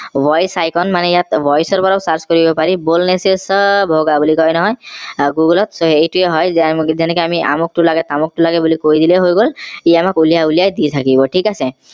voice icon মানে ইয়াত voice ও search কৰিব পাৰি बोलनो चो चब होगा বুলি কয় নহয় আহ google ত এইটো হয় যেনেকে আমি আমুক টো লাগেহ তামুকটো লাগে বুলি কৈ দিলেই হৈ গল সি আমাক উলিয়াই উলিয়াই দি থাকিব ঠিক আছে